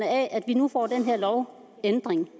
af at vi nu får den her lovændring